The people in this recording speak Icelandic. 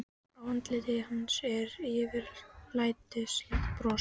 Á andliti hans var yfirlætislegt bros.